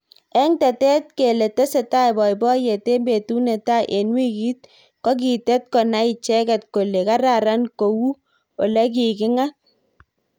eng tetet kele tesetai boiboyet eng betut netai eng wikit kokitet konai icheket kole kararan kou olekikingat